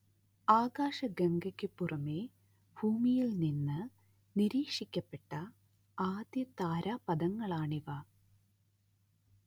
ആകാശഗംഗയ്ക്ക് പുറമെ ഭൂമിയിൽ നിന്ന് നിരീക്ഷിക്കപ്പെട്ട ആദ്യ താരാപഥങ്ങളാണിവ